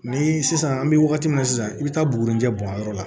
Ni sisan an bɛ wagati min na sisan i bɛ taa buguni cɛ bɔn yɔrɔ la